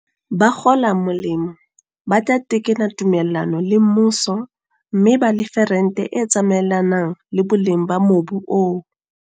Bakgola molemo ba tla tekena tume llano le mmuso mme ba lefe rente e tsamaelanang le boleng ba mobu oo.